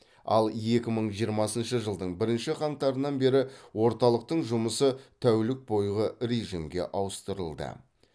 ал екі мың жиырмасыншы жылдың бірінші қаңтарынан бері орталықтың жұмысы тәулік бойғы режимге ауыстырылды